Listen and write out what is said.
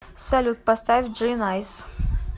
салют поставь джи найс